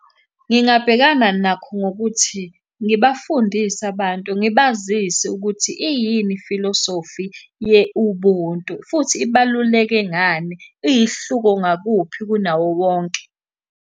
Ngingabhekana nakho ngokuthi, ngibafundise abantu ngibazise ukuthi iyini ifilosofi ye-Ubuntu, futhi ibaluleke ngani, iyihluko ngakuphi kunawo wonke.